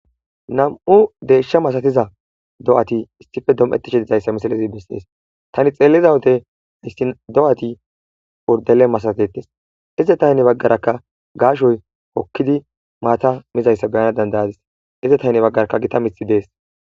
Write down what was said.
Nam'u deeshsha masatiza do'ati issife dom'ettishe dizayssa misalazi misees tani xeellizawode ayssi do'ati urdele masatetes ize taynne baggarakka gaashoy hokkidi maata mizayssa beyana dandayadis ize taynne baggaraka gita mithi dees.